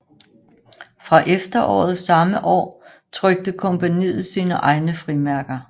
Fra efteråret samme år trykte kompagniet sine egne frimærker